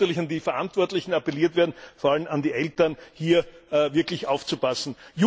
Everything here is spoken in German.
Und es muss natürlich an die Verantwortlichen appelliert werden, vor allem an die Eltern, hier wirklich aufzupassen.